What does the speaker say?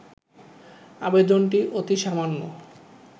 আবেদনটি অতি সামান্য